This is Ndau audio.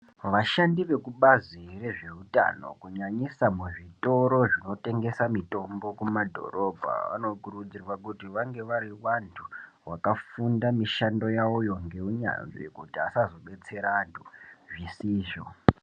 Vashandi vekubazi rezvehutano kunyanyisa muzvitoro zvinotengesa mitombo kumadhorobha. Vanokurudzirwa kuti vange vari vantu vakafunda mushando yavoyo ngeunyanzvi kuti asazobetsere antu zvisizvo.